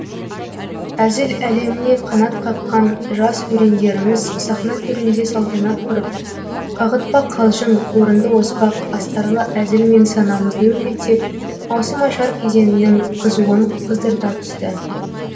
әзіл әлеміне қанат қаққан жас өрендеріміз сахна төрінде салтанат құрып қағытпа қалжың орынды оспақ астарлы әзілмен санамызды өрнектеп маусымашар кезеңінің қызуын қыздырта түсті